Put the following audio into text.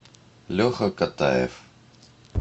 леха катаев